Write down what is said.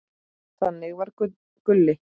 Þannig var Gulli.